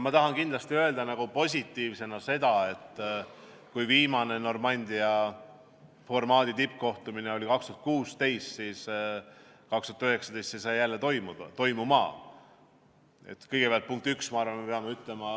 Ma tahan kindlasti positiivsena välja tuua, et kui viimane Normandia formaadi tippkohtumine oli aastal 2016, siis aastal 2019 toimus see jälle.